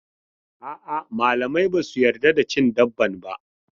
A'a, malamai ba su yarda da cin dabban ba.